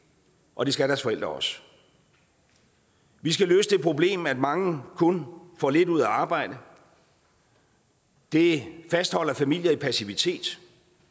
og det skal deres forældre også vi skal løse det problem at mange kun får lidt ud af at arbejde det fastholder familier i passivitet